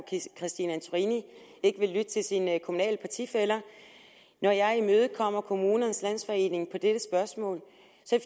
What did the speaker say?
christine antorini ikke vil lytte til sine kommunale partifæller når jeg imødekommer kommunernes landsforening i dette spørgsmål